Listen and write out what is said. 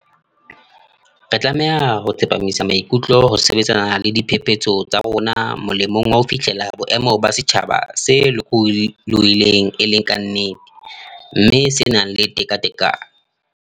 Re tlameha ho tsepamisa maikutlo ho sebetsana le diphephetso tsa rona molemong wa ho fihlella boemo ba setjhaba se lokolohileng e le ka nnete, mme se nang le tekatekano.